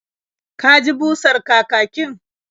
Ka ji busar kakakin?